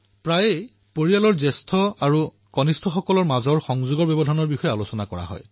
প্ৰায়েই মানুহে পৰিয়ালত ডাঙৰ আৰু সৰুৰ মাজত যোগাযোগৰ ব্যৱধানৰ বিষয়ে চৰ্চা কৰে